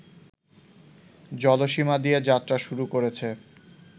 জলসীমা দিয়ে যাত্রা শুরু করেছে